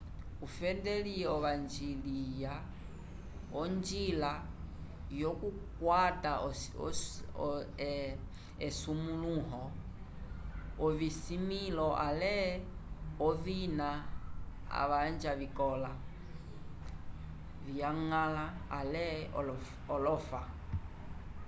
ufenedli ovanjiliya onjila yokukwata esumulũho ovismĩlo ale ovina avanja vikola/vyañgala ale olofa